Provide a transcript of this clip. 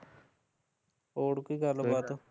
ਹੋਰ ਕੋਈ ਗੱਲ ਬਾਤ